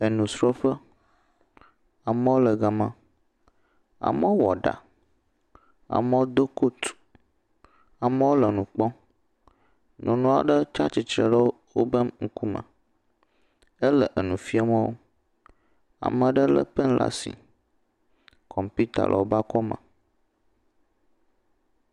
Enusrɔƒe, ameɔ le gama, ameɔ wɔ ɖa, ameɔ do kot, ameɔ le nu kpɔɔ, nyɔnu aɖe tsatsitre ɖe wobe ŋkume, hele enu fie meɔ, ameɖe lé pɛn le asi, kɔmpita le wobe akɔme.